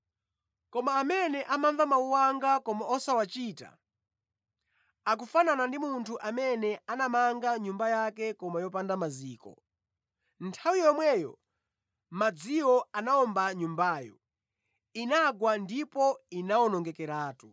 Koma amene amamva mawu anga koma osawachita, akufanana ndi munthu amene anamanga nyumba yake koma yopanda maziko. Nthawi yomwe madziwo anawomba nyumbayo, inagwa ndipo inawonongekeratu.”